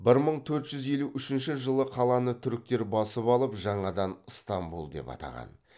бір мың төрт жүз елу үшінші жылы қаланы түріктер басып алып жаңадан ыстамбұл деп атаған